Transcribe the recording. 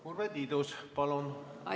Urve Tiidus, palun!